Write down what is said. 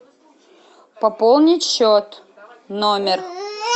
пополнить счет номер